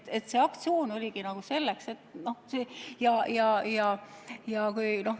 Nii et see aktsioon oligi nagu selleks, et seda näidata.